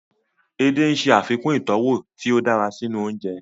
Edé ń ṣe àfikún ìtọ́wọ̀ tí ó dára sínú oúnjẹ